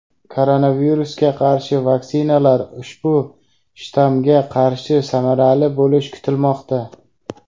koronavirusga qarshi vaksinalar ushbu shtammga qarshi samarali bo‘lishi kutilmoqda.